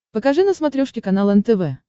покажи на смотрешке канал нтв